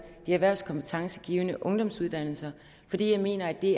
de erhvervskompetencegivende ungdomsuddannelser fordi jeg mener at det